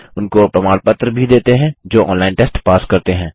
उनको प्रमाण पत्र भी देते हैं जो ऑनलाइन टेस्ट पास करते हैं